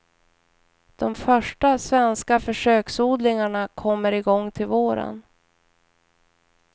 De första svenska försöksodlingarna kommer i gång till våren.